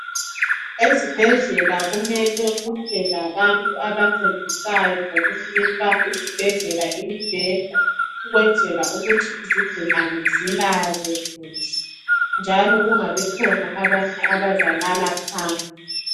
Ezibhedlela kumele kube labantu abancedisayo ngokunika izibhedlela imibheda, ukwenzela ukuthi izigulane zilale njalo kungabikhona abanye abazalala phansi.